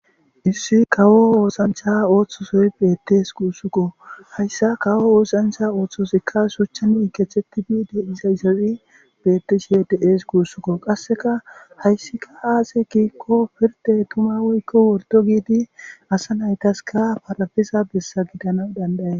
issi kawo oosancha ooththosoy beettes quussukko hayssa kawo oosancha ooththosikka suchcha miikethetti biide iza isazi bettishi yed7ees kuussukko qasseka hayssika aase kiikko pirde tuma woykko wordo giidi asa naytaska parafiza bessa gidana dandaye